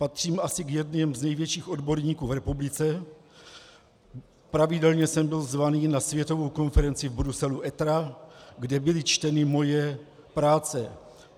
Patřím asi k jedněm z největších odborníků v republice, pravidelně jsem byl zván na světovou konferenci v Bruselu ETRA, kde byly čteny moje práce.